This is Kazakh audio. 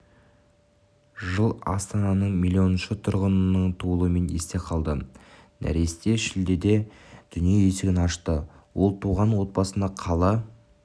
жыл астананың миллионыншы тұрғынының туылуымен есте қалды нәресте шілдеде дүние есігін ашты ол туылған отбасына қала